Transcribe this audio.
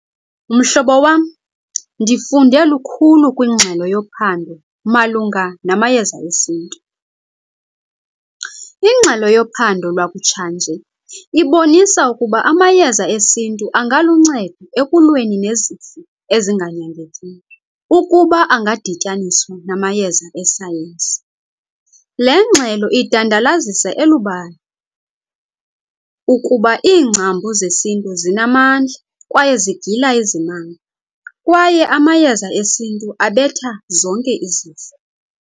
Mhlobo wam, ndifunde lukhulu kwingxelo yophando malunga namayeza esintu. Ingxelo yophando lwakutshanje ibonisa ukuba amayeza esintu angaluncedo ekulweni nezifo ezinganyangekiyo ukuba angadityaniswa namayeza esayensi. Le ngxelo idandalazisa elubala ukuba iingcambu zesintu zinamandla kwaye zigila izimanga, kwaye amayeza esintu abetha zonke izifo.